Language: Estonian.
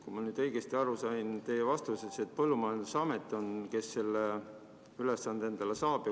Kui ma nüüd teie vastusest õigesti aru sain, siis põllumajandusamet on see, kes selle ülesande endale saab.